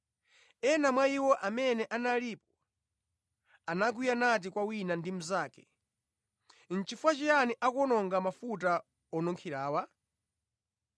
Ena mwa iwo amene analipo, anakwiya nati kwa wina ndi mnzake, “Chifukwa chiyani akuwononga mafuta onunkhirawa?